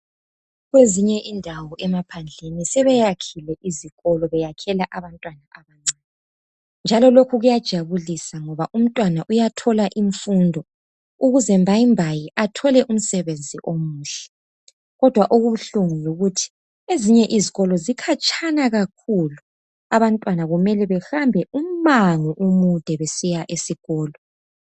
Kwezinye izindawo emaphandleni sebeyakhile izikolo besakhela abantwana abancane njalo lokhu kuyajabulisa ngoba umntwana uyathola imfundo ukuze mbayimbayi athole umsebenzi omuhle. Kodwa okubuhlungu yikuthi ezinye izikolo zikhatshana kakhulu., abantwana kumele behambe umango omude besiya esikolo.